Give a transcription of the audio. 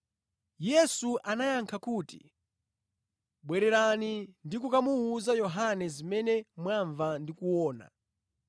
Yesu anayankha kuti, “Bwererani ndi kukamuwuza Yohane zimene mwamva ndi kuona.